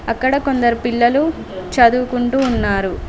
అక్కడ కొందరు పిల్లలు చదువుకుంటూ ఉన్నారు.